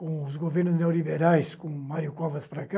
Com os governos neoliberais, com Mário Covas para cá,